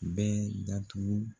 Bɛɛ datugu